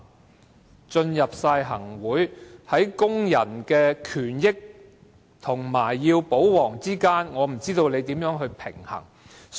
他們加入行政會議，在工人的權益和"保皇"之間，我不知道他們要如何平衡。